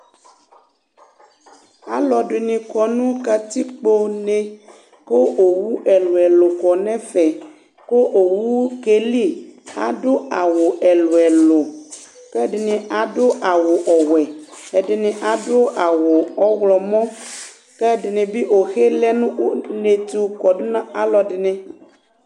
alɔdinɩ kɔ nu katikpone ku owʊ ɛlu ɛlu kɔ nu ɛfɛ ku owu kelɩ adu awu ɛlu ɛlu kɛdini adu awu ɔwuɛ ɛdini adu awu ɔwlɔmɔ kɛdɩnɩbɩ owoe lɛ nu unetu kɔdu nu aluɛdinɩ